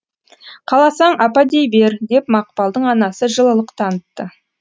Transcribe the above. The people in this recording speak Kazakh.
қаласаң апа дей бер деп мақпалдың анасы жылылық танытты